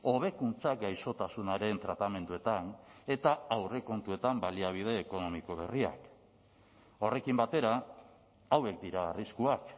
hobekuntza gaixotasunaren tratamenduetan eta aurrekontuetan baliabide ekonomiko berriak horrekin batera hauek dira arriskuak